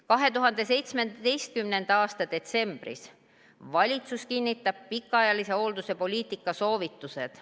2017. aasta detsembris kinnitas valitsus pikaajalise hoolduse poliitika soovitused.